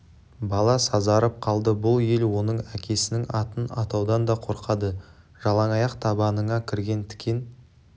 бала сазарып қалды бұл ел оның әкесінің атын атаудан да қорқады жалаң аяқ табаныңа кірген тікен